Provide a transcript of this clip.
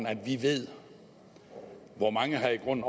at vi ved hvor mange der i grunden